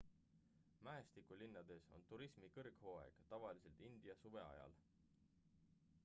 mäestikulinnades on turismi kõrghooaeg tavaliselt india suve ajal